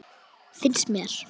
Finnst mér.